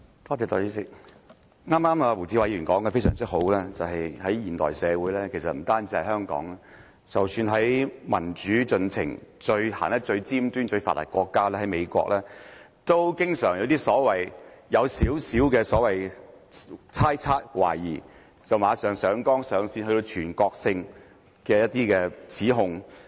代理主席，胡志偉議員剛才說得非常好，就是在現代社會，不單是香港，即使在民主進程走得最尖端、最發達的國家——美國，都經常基於少許猜測、懷疑，便馬上上綱上線，作出全國性的指控。